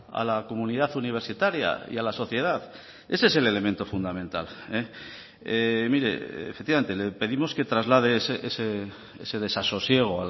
a la comunidad universitaria y a la sociedad ese es el elemento fundamental mire efectivamente le pedimos que traslade ese desasosiego